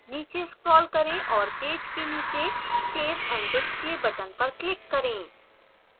नीचे scroll करें और पेज के नीचे save and display button पर click करें